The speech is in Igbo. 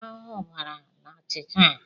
Ahụhụ bara n'achịcha a.